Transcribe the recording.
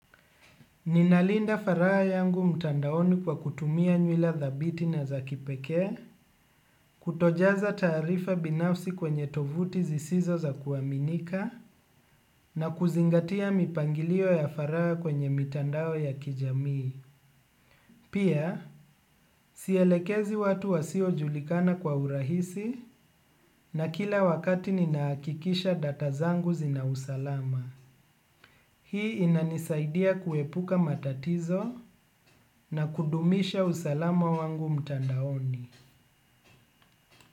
Ninalinda faraha yangu mtandaoni kwa kutumia nywila dhabiti na za kipekee, kutojaza taarifa binafsi kwenye tovuti zisizo za kuaminika, na kuzingatia mipangilio ya faraha kwenye mitandao ya kijamii. Pia, sielekezi watu wasiojulikana kwa urahisi na kila wakati ninahakikisha data zangu zina usalama. Hii inanisaidia kuepuka matatizo na kudumisha usalama wangu mtandaoni.